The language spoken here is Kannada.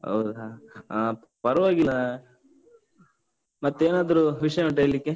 ಹೌದಾ, ಹಾ ಪರ್ವಾಗಿಲ್ಲ. ಮತ್ತೇನಾದ್ರೂ ವಿಷ್ಯ ಉಂಟ ಹೇಳ್ಳಿಕ್ಕೆ?